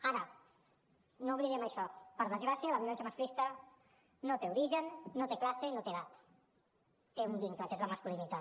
ara no oblidem això per desgràcia la violència masclista no té origen no té classe no té edat té un vincle que és la masculinitat